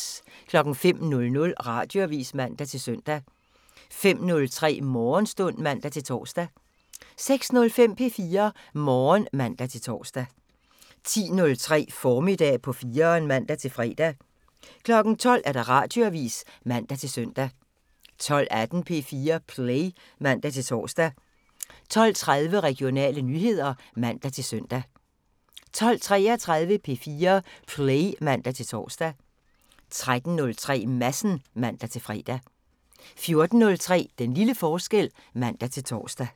05:00: Radioavisen (man-søn) 05:03: Morgenstund (man-tor) 06:05: P4 Morgen (man-tor) 10:03: Formiddag på 4'eren (man-fre) 12:00: Radioavisen (man-søn) 12:18: P4 Play (man-tor) 12:30: Regionale nyheder (man-søn) 12:33: P4 Play (man-tor) 13:03: Madsen (man-fre) 14:03: Den lille forskel (man-tor)